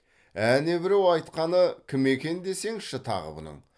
әне біреу айтқаны кім екен десеңші тағы бұның